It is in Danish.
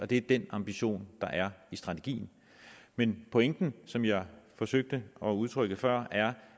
det er den ambition der er i strategien men pointen som jeg forsøgte at udtrykke før er